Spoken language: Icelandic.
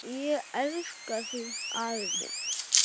Ég elska þig afi minn.